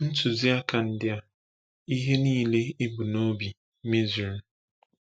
Ntuziaka ndị a ihe niile e bu n’obi mezuru.